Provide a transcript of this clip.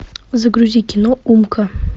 загрузи кино умка